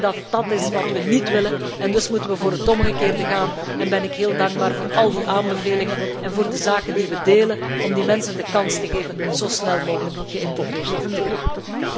Ik denk dat dat iets is wat we niet willen. Dus moeten we voor het omgekeerde gaan en ik ben dan ook heel dankbaar voor al die aanbevelingen en voor de zaken die we delen om die mensen de kans te geven zo snel mogelijk geïntegreerd te raken.